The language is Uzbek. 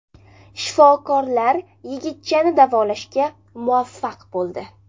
Shifokorlar yigitchani davolashga muvaffaq bo‘ldi.